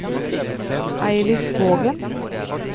Eilif Vågen